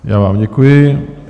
Já vám děkuji.